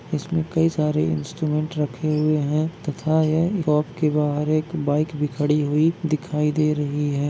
इसमें कई सारे इंस्ट्रूमेंट रखे हुए है तथा यहाँ बाहर एक बाइक भी खड़ी हुई दिखाई दे रही है।